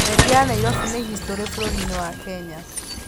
Reri ya Nairobi nĩ historĩ bũrũri-inĩ wa Kenya.